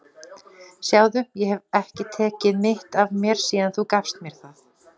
Sjáðu, ég hef ekki tekið mitt af mér síðan þú gafst mér það.